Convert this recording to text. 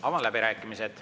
Avan läbirääkimised.